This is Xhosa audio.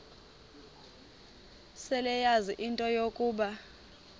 seleyazi into yokuba